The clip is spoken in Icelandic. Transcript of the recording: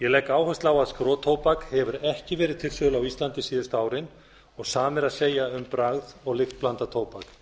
legg áherslu á að skrotóbak hefur ekki verið til sölu á íslandi síðustu árin sama er að segja um bragð og lyktblandað tóbak